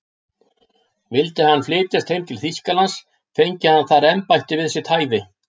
Vildi hann flytjast heim til Þýskalands, fengi hann þar embætti við sitt hæfi.